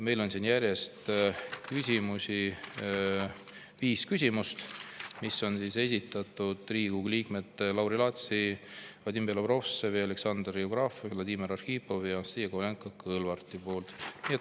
Meil on siin järjest viis küsimust, mille on esitanud Riigikogu liikmed Lauri Laats, Vadim Belobrovtsev, Aleksei Jevgrafov, Vladimir Arhipov ja Anastassia Kovalenko-Kõlvart.